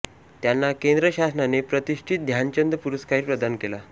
त्यांना केंद्र शासनाने प्रतिष्ठित ध्यानचंद पुरस्कारही प्रदान केला